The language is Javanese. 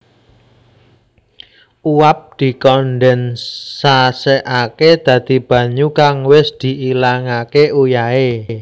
Uap dikondensasekake dadi banyu kang wis diilangake uyahe